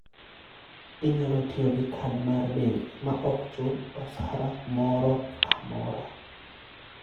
Inyalo tiyo gi kad mar bengi maok chul osara moro amora.